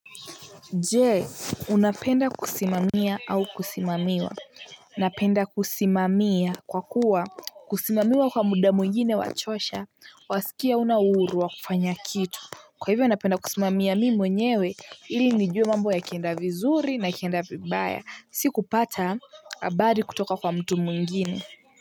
Je, unapenda kusimamia au kusimamiwa? Napenda kusimamia kwa kuwa kusimamiwa kwa muda mwingine wachosha. Wasikia hauna uhuru wa kufanya kitu. Kwa hivyo napenda kusimamia mimi mwenyewe ili nijue mambo yakienda vizuri na ikienda vibaya. Si kupata habari kutoka kwa mtu mwingine.